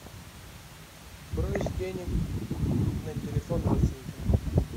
брось денег на телефон родственника